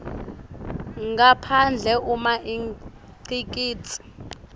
ngaphandle uma ingcikitsi